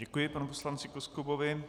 Děkuji panu poslanci Koskubovi.